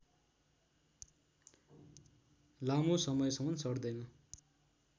लामो समयसम्म सड्दैन